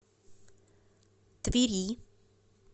твери